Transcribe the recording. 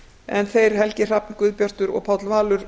en þeir helgi hrafn guðbjartur og páll valur